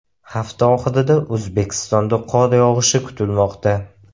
Hafta oxirida O‘zbekistonda qor yog‘ishi kutilmoqda.